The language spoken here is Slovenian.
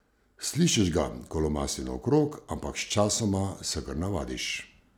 Slišiš ga, ko lomasti naokrog, ampak sčasoma se kar navadiš.